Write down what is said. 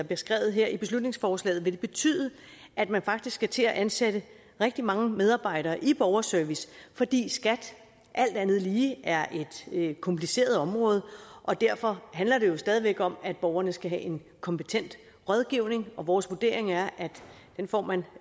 beskrevet her i beslutningsforslaget vil det betyde at man faktisk skal til at ansætte rigtig mange medarbejdere i borgerservice fordi skat alt andet lige er et kompliceret område og derfor handler det jo stadig væk om at borgerne skal have en kompetent rådgivning og vores vurdering er at den får man